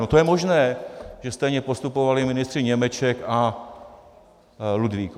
No to je možné, že stejně postupovali ministři Němeček a Ludvík.